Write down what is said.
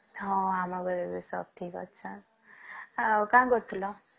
ହଁ ଆମ ଘରେ ବି ସବୁ ଠିକ୍ ଅଛନ ଆଉ କାଣ କରୁଥିଲ?